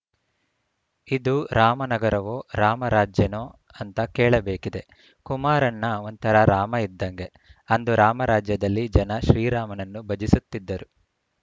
ಇದು ರಾಮನಗರವೋ ರಾಮರಾಜ್ಯನೋ ಅಂತ ಕೇಳಬೇಕಿದೆ ಕುಮಾರಣ್ಣ ಒಂಥರ ರಾಮ ಇದ್ದಂಗೆ ಅಂದು ರಾಮರಾಜ್ಯದಲ್ಲಿ ಜನ ಶ್ರೀರಾಮನನ್ನು ಭಜಿಸುತ್ತಿದ್ದರು